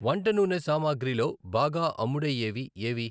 వంట నూనె సామాగ్రి లో బాగా అమ్ముడయ్యేవి ఏవి?